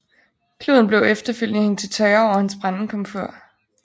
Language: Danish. Kluden blev efterfølgende hængt til tørre over hans brændekomfur